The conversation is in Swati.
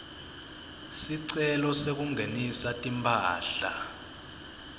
sicelo sekungenisa timphahla